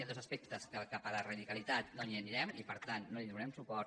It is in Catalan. hi han dos aspectes en què cap a la radicalitat no hi anirem i per tant no hi donarem su·port